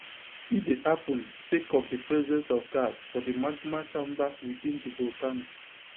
e dey happun sake of di presence of gas for di magma chamber within di volcano